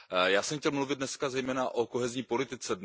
Já jsem chtěl mluvit dneska zejména o kohezní politice.